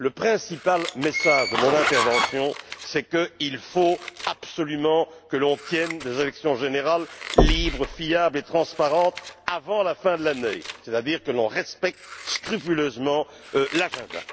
Le principal message de mon intervention, c'est qu'il faut absolument que l'on tienne des élections générale, libres, fiables et transparentes avant la fin de l'année, c'est à dire que l'on respecte scrupuleusement l'agenda.